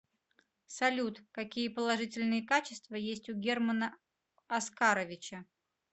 салют какие положительные качества есть у германа оскаровича